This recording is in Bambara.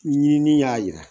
Ni ɲini ni y'a yira